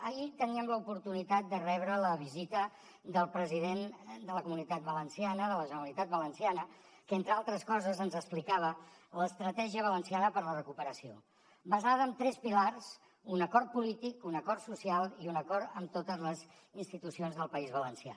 ahir teníem l’oportunitat de rebre la visita del president de la comunitat valenciana de la generalitat valenciana que entre altres coses ens explicava l’estratègia valenciana per a la recuperació basada en tres pilars un acord polític un acord social i un acord amb totes les institucions del país valencià